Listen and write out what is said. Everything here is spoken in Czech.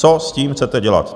Co s tím chcete dělat?